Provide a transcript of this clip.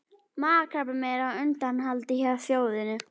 Magakrabbamein er á undanhaldi hjá þjóðinni.